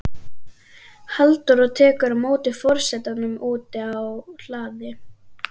Halldóra tekur á móti forsetanum úti á hlaði.